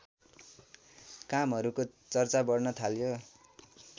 कामहरुको चर्चा बढ्न थाल्यो